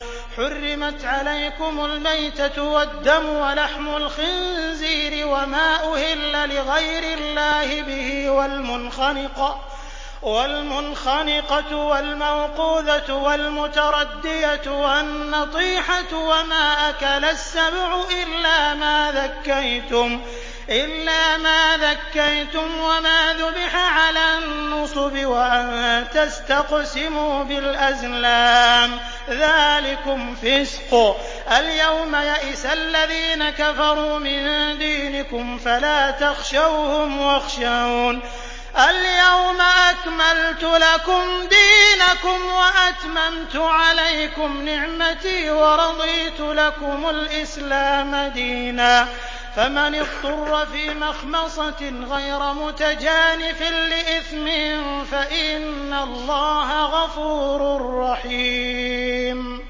حُرِّمَتْ عَلَيْكُمُ الْمَيْتَةُ وَالدَّمُ وَلَحْمُ الْخِنزِيرِ وَمَا أُهِلَّ لِغَيْرِ اللَّهِ بِهِ وَالْمُنْخَنِقَةُ وَالْمَوْقُوذَةُ وَالْمُتَرَدِّيَةُ وَالنَّطِيحَةُ وَمَا أَكَلَ السَّبُعُ إِلَّا مَا ذَكَّيْتُمْ وَمَا ذُبِحَ عَلَى النُّصُبِ وَأَن تَسْتَقْسِمُوا بِالْأَزْلَامِ ۚ ذَٰلِكُمْ فِسْقٌ ۗ الْيَوْمَ يَئِسَ الَّذِينَ كَفَرُوا مِن دِينِكُمْ فَلَا تَخْشَوْهُمْ وَاخْشَوْنِ ۚ الْيَوْمَ أَكْمَلْتُ لَكُمْ دِينَكُمْ وَأَتْمَمْتُ عَلَيْكُمْ نِعْمَتِي وَرَضِيتُ لَكُمُ الْإِسْلَامَ دِينًا ۚ فَمَنِ اضْطُرَّ فِي مَخْمَصَةٍ غَيْرَ مُتَجَانِفٍ لِّإِثْمٍ ۙ فَإِنَّ اللَّهَ غَفُورٌ رَّحِيمٌ